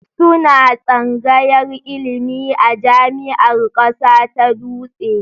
Suna tsangayar ilimi a Jami'ar Ƙasa ta Dutse